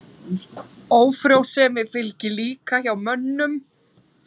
Ófrjósemi fylgir líka hjá mönnum.